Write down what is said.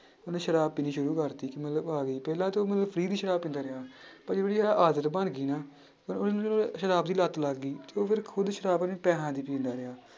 ਉਹਨੇ ਸ਼ਰਾਬ ਪੀਣੀ ਸ਼ੁਰੂ ਕਰ ਦਿੱਤੀ ਕਿ ਮਤਲਬ ਪਹਿਲਾਂ ਤਾਂ free ਦੀ ਸ਼ਰਾਬ ਪੀਂਦਾ ਰਿਹਾ ਆਦਤ ਬਣ ਗਈ ਨਾ ਤਾਂ ਉਹਨੂੰ ਜਦੋਂ ਸ਼ਰਾਬ ਦੀ ਲੱਤ ਲੱਗ ਗਈ ਤੇ ਉਹ ਫਿਰ ਖੁੱਦ ਸ਼ਰਾਬ ਆਪਣੇੇ ਪੈਸਿਆਂ ਦੀ ਪੀਂਦਾ ਰਿਹਾ।